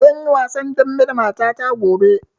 Zan yi wasan dambe da mata ta gobe.